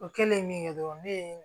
O kɛlen min kɛ dɔrɔn ne ye